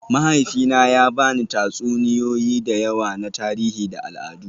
Mahaifina ya ba ni tatsuniyoyi da yawa na tarihi da al'adu